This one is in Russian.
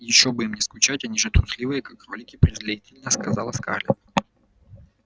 ещё бы им не скучать они же трусливые как кролики презрительно сказала скарлетт